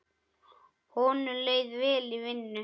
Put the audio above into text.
Honum leið vel í vinnu.